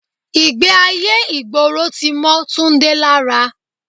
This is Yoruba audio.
Ìgbé ayé ìgboro tí mọ́ Túndé lára.